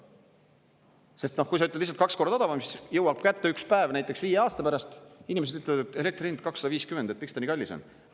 Sest, noh, kui sa ütled lihtsalt kaks korda odavam, siis jõuab kätte üks päev, näiteks viie aasta pärast, inimesed ütlevad, et elektri hind 250 miljonit eurot, et miks ta nii kallis on.